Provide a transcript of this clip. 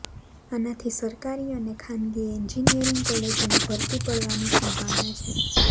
આનાથી સરકારી અને ખાનગી એન્જિનિયરિંગ કોલેજોમાં ભરતી પડવાની સંભાવના છે